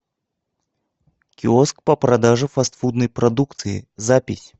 киоск по продаже фастфудной продукции запись